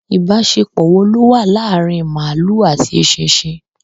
Ibasepo wo lo wa laari maalu ati esisin